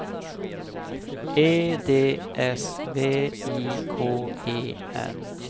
E D S V I K E N